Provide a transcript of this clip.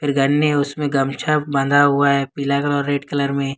गन्ने में उसमें गमछा बना हुआ है पीला कलर रेड कलर में।